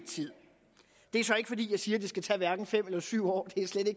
tid det er så ikke fordi jeg siger at det skal tage fem eller syv år